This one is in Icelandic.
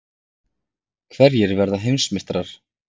Hverjir verða Heimsmeistarar?